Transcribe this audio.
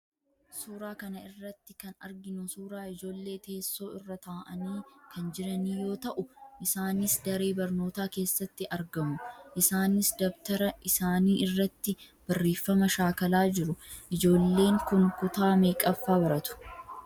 Suuraa kana irrati kan arginu suuraa ijoollee teessoo irra taa'anii kan jiranii yoo ta'u, isaanis daree barnootaa keessatti argamu. Isaanis dabtara isaanii irratti barreeffama shaakalaa jiru. Ijoolleen kun kutaa meeqaffaa baratu?